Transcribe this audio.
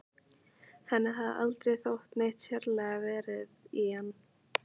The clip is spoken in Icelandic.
Henni hafði aldrei þótt neitt sérlega varið í hann.